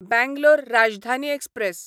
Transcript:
Bangalore Rajdhani express